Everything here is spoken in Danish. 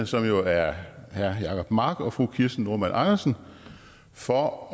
som jo er herre jacob mark og fru kirsten normann andersen for at